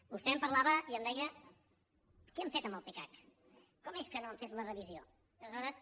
vostè em parlava i em deia què han fet amb el pecac com és que no n’han fet la revisió i aleshores